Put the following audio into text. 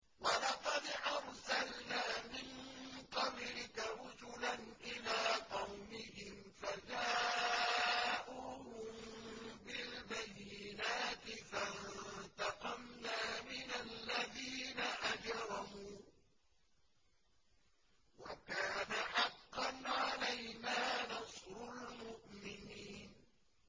وَلَقَدْ أَرْسَلْنَا مِن قَبْلِكَ رُسُلًا إِلَىٰ قَوْمِهِمْ فَجَاءُوهُم بِالْبَيِّنَاتِ فَانتَقَمْنَا مِنَ الَّذِينَ أَجْرَمُوا ۖ وَكَانَ حَقًّا عَلَيْنَا نَصْرُ الْمُؤْمِنِينَ